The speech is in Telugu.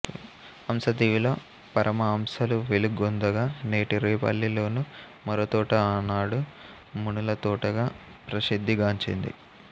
హంస దీవిలో పరమహంసలు వెలుగొందగా నేటి రేపల్లి లోని మొరతోట ఆనాడు మునులతోటగా ప్రశిద్ధి గాంచింది